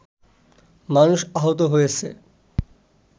মানুষ আহত হয়েছে